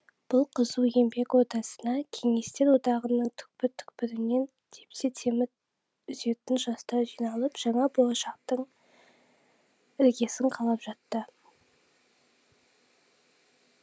бұл қызу еңбек ордасына кеңестер одағының түкпір түкпірінен тепсе темір үзетін жастар жиналып жаңа болашақтың іргесін қалап жатты